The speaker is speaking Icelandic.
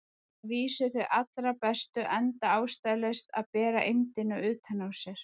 Að vísu þau allra bestu, enda ástæðulaust að bera eymdina utan á sér.